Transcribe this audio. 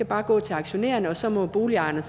bare går til aktionærerne og så må boligejerne